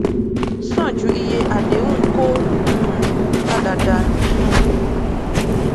san ju iye àdéhùn kó um padàdànù um